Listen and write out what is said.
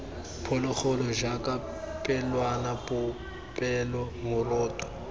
phologolo jaaka pelwana popelo moroto